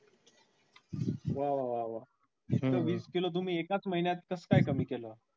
वा वा वा वा इतकं वीस किलो तुम्ही एकाच महिन्यात कास काय कमी केलं.